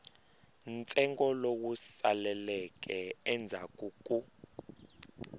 ntsengo lowu saleleke endzhaku ku